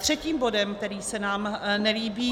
Třetím bodem, který se nám nelíbí -